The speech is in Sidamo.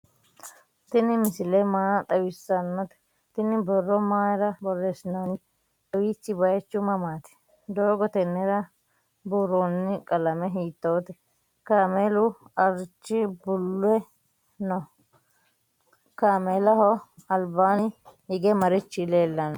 tini misile maa xawisanote? tinni borro mayira borresinonite? kawichi bayichu mamati? dogo tenera buuroni qalme hitote? kamelu arichi bule no?kamelaho albani hige marichi lelano?